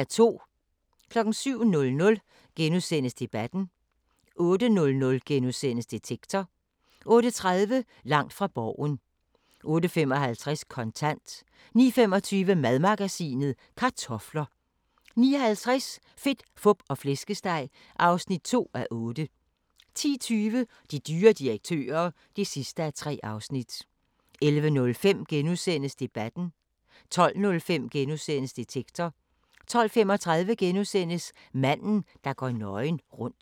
07:00: Debatten * 08:00: Detektor * 08:30: Langt fra Borgen 08:55: Kontant 09:25: Madmagasinet: Kartofler 09:50: Fedt, Fup og Flæskesteg (2:8) 10:20: De dyre direktører (3:3) 11:05: Debatten * 12:05: Detektor * 12:35: Manden, der går nøgen rundt *